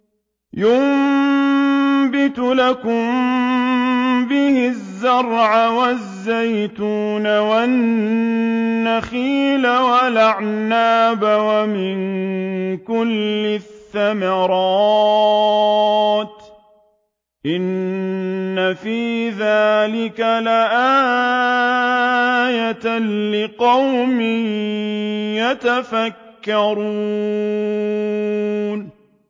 يُنبِتُ لَكُم بِهِ الزَّرْعَ وَالزَّيْتُونَ وَالنَّخِيلَ وَالْأَعْنَابَ وَمِن كُلِّ الثَّمَرَاتِ ۗ إِنَّ فِي ذَٰلِكَ لَآيَةً لِّقَوْمٍ يَتَفَكَّرُونَ